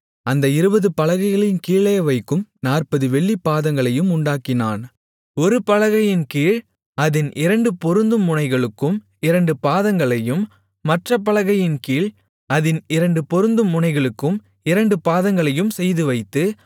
அந்த இருபது பலகைகளின் கீழே வைக்கும் நாற்பது வெள்ளிப் பாதங்களையும் உண்டாக்கினான் ஒரு பலகையின்கீழ் அதின் இரண்டு பொருந்தும் முனைகளுக்கும் இரண்டு பாதங்களையும் மற்றப் பலகையின்கீழ் அதின் இரண்டு பொருந்தும் முனைகளுக்கும் இரண்டு பாதங்களையும் செய்துவைத்து